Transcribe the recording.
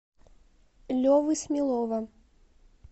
левы смелова